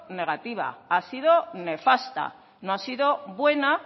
negativa ha sido nefasta no ha sido buena